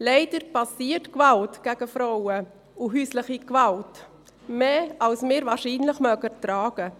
Leider geschieht Gewalt gegen Frauen und häusliche Gewalt mehr, als wir diese wahrscheinlich tragen mögen.